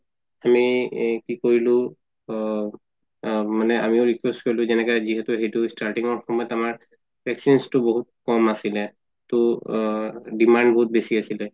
আমি এই কি কৰিলো অ মানে আমিও request কৰিলো কেনেকা যিহেতু সেইটো starting ৰ সময়ত আমাৰ vaccines তো বহুত কম আছিলে ত আ demand বহুত বেচি আছিলে